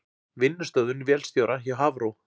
Vinnustöðvun vélstjóra hjá Hafró